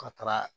Ka taga